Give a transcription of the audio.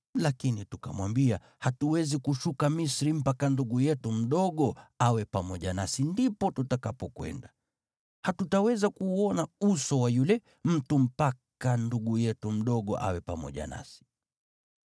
Lakini tukamwambia, ‘Hatuwezi kushuka Misri mpaka ndugu yetu mdogo awe pamoja nasi ndipo tutakapokwenda. Hatutaweza kuuona uso wa yule mtu mpaka ndugu yetu mdogo awe pamoja nasi.’